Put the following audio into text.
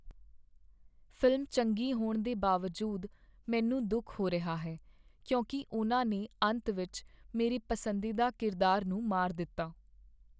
Film ਚੰਗੀ ਹੋਣ ਦੇ ਬਾਵਜੂਦ ਮੈਨੂੰ ਦੁੱਖ ਹੋ ਰਿਹਾ ਹੈ ਕਿਉਂਕਿ ਉਨ੍ਹਾਂ ਨੇ ਅੰਤ ਵਿੱਚ ਮੇਰੇ ਪਸੰਦੀਦਾ ਕਿਰਦਾਰ ਨੂੰ ਮਾਰ ਦਿੱਤਾ।